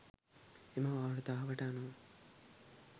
එම වාර්තාවට අනුව